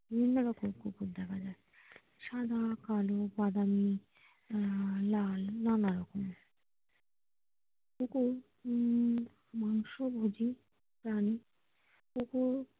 বিভিন্ন রকম কুকুর দেখা যায় সাদা কালো বাদামি আহ লাল নানারকম কুকুর মাংস ভোগী প্রাণী ।